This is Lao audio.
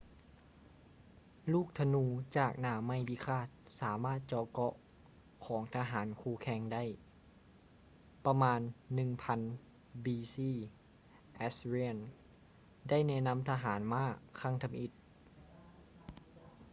ລູກທະນູຈາກໜ້າໄມ້ພິຄາດສາມາດເຈາະເກາະຂອງທະຫານຄູ່ແຂ່ງໄດ້. ປະມານ 1000 b.c. assyrians ໄດ້ແນະນຳທະຫານມ້າຄັ້ງທຳອິດ